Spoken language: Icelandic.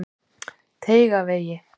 Teigavegi